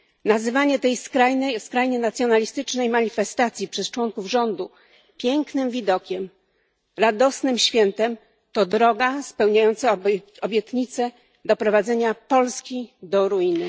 nazywanie tej skrajnie nacjonalistycznej manifestacji przez członków rządu pięknym widokiem, radosnym świętem to droga spełniająca obietnice doprowadzenia Polski do ruiny.